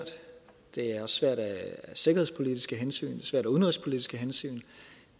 det er også svært af sikkerhedspolitiske hensyn svært af udenrigspolitiske hensyn